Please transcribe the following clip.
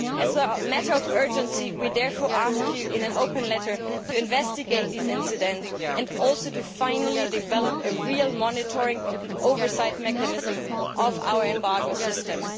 As a matter of urgency, we therefore ask you in an open letter to investigate these incidents and also finally to develop a real monitoring and oversight mechanism of our embargo systems.